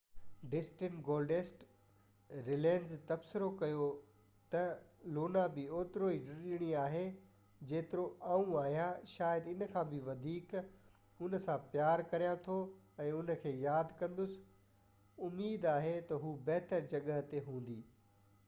ڊسٽن Goldust Runnels تبصرو ڪيو ته لونا به اوترو ئي ڊڄڻي هئي جيترو آئون آهيان شايد اِن کان به وڌيڪ هُن سان پيار ڪريان ٿو ۽ هن کي ياد ڪندس اميد آهي ته هُو بهتر جڳهه تي هوندي